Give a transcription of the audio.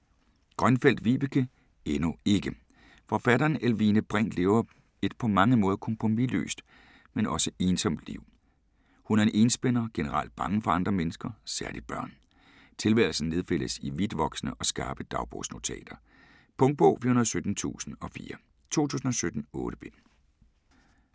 Grønfeldt, Vibeke: Endnu ikke Forfatteren Elvine Brink lever et på mange måder kompromisløst, men også ensomt liv. Hun er en enspænder; generelt bange for andre mennesker - særligt børn. Tilværelsen nedfældes i vidtvoksende og skarpe dagbogsnotater. Punktbog 417004 2017. 8 bind.